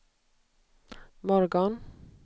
morgon